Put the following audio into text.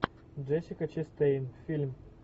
джессика честейн фильм